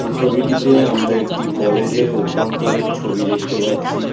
এই ছবিটিতে আমরা একটি কলেজ -এর অভ্যন্তরীণ ছবি দেখতে পাচ্ছি ।